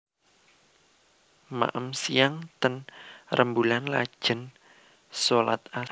Maem siang ten Remboelan lajen solat asar